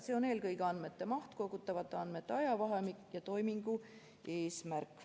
See on eelkõige andmete maht, kogutavate andmete ajavahemik ja toimingu eesmärk.